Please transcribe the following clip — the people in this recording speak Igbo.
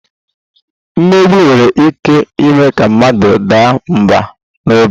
Mmegbu nwere ike ime ka mmadụ daa mbà n'obi